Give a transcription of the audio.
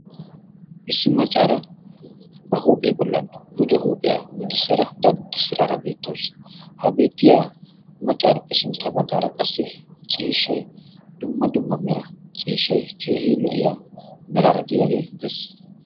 issi maccaara ba huuphiyaa bollan gujo huuphiyaa gujjissara daddi siraara beettoos ha beettiya maccaarippe sintta baggaara qassi ciishshai dumma dumma mera ciishshai keehi lo77iya meraara de7iyaagee de7es